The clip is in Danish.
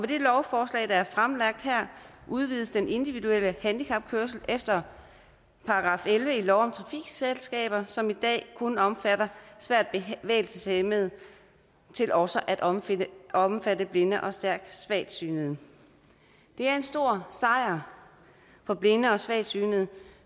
det lovforslag der er fremlagt her udvides den individuelle handicapkørsel efter § elleve i lov om trafikselskaber som i dag kun omfatter svært bevægelseshæmmede til også at omfatte omfatte blinde og stærkt svagsynede det er en stor sejr for blinde og svagsynede